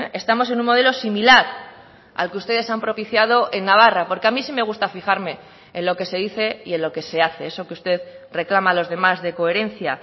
estamos en un modelo similar al que ustedes han propiciado en navarra porque a mí sí me gusta fijarme en lo que se dice y en lo que se hace eso que usted reclama a los demás de coherencia